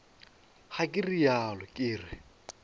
ga ke realo ke re